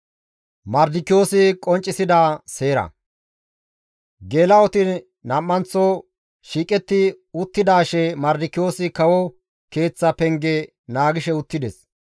Geela7oti nam7anththo shiiqetti uttidaashe Mardikiyoosi kawo keeththa penge naagishe uttides.